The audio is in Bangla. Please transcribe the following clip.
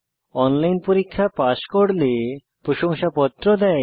অনলাইন পরীক্ষা পাস করলে প্রশংসাপত্র দেয়